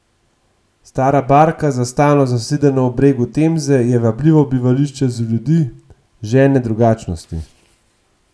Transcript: Stara barka, za stalno zasidrana ob bregu Temze, je vabljivo bivališče za ljudi, željne drugačnosti.